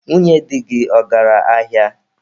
Nwunye dị gị, ọ gara ahịa?